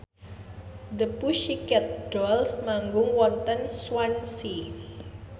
The Pussycat Dolls manggung wonten Swansea